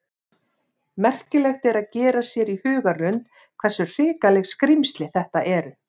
Merkilegt er að gera sér í hugarlund hversu hrikaleg skrímsli þetta eru.